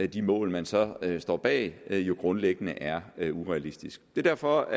de mål man så står bag jo grundlæggende er er urealistiske det er derfor